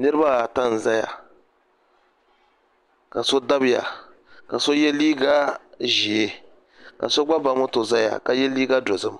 niraba ata n ʒɛya ka so dabiya ka so yɛ liiga ʒiɛ ka so gba ba moto ʒɛya ka yɛ liiga dozim